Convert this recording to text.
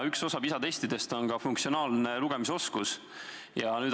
Üks osa PISA testidest on ka funktsionaalse lugemisoskuse testimine.